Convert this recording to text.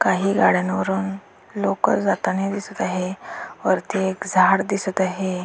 काही गाड्यांवरून लोक जातानी दिसत आहे वरती एक झाड दिसत आहे.